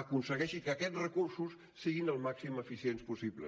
aconsegueixi que aquests recursos siguin el màxim eficients possibles